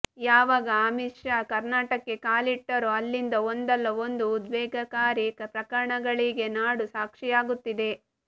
ಯಾವಾಗ ಅಮಿತ್ ಶಾ ಕರ್ನಾಟಕಕ್ಕೆ ಕಾಲಿಟ್ಟರೋ ಅಲ್ಲಿಂದ ಒಂದಲ್ಲ ಒಂದು ಉದ್ವಿಗ್ನಕಾರಿ ಪ್ರಕರಣಗಳಿಗೆ ನಾಡು ಸಾಕ್ಷಿಯಾಗುತ್ತಿದೆ